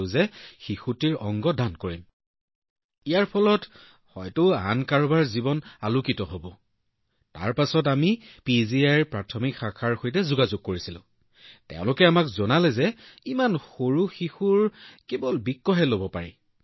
গতিকে যেতিয়া তেওঁলোকে সম্পূৰ্ণ অসহায়তা প্ৰকাশ কৰিছিল আমি দুয়ো সিদ্ধান্ত লৈছিলো এই শিশুটোৰ অংগ দান নকৰনো কিয় হয়তো আন কাৰোবাৰ জীৱনে পোহৰ দেখা পাব তাৰ পিছত আমি পিজিআইৰ প্ৰশাসনিক খণ্ডৰ সৈতে যোগাযোগ কৰিছিলো আৰু তেওঁলোকে আমাক নিৰ্দেশনা দিছিল যে কেৱল ইমান সৰু শিশুৰ বৃক্ক হে লব পাৰি